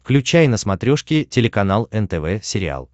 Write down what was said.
включай на смотрешке телеканал нтв сериал